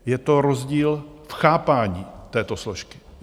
Je to rozdíl v chápání této složky.